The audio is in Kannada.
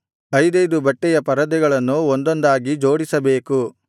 ಐದೈದು ಬಟ್ಟೆಯ ಪರದೆಗಳನ್ನು ಒಂದೊಂದಾಗಿ ಜೋಡಿಸಬೇಕು